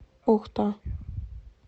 ухта